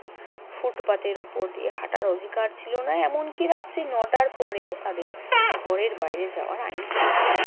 ফুটপাতের ওপর দিয়ে হাঁটার অধিকার ছিল না। এমনকি রাত্রি নটার পরেও তাদের ঘরের বাইরে যাওয়ার আইন ছিল না।